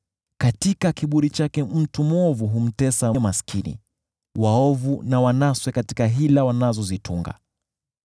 Katika kiburi chake, mwovu humtesa maskini, waovu na wanaswe katika hila wanazozitunga.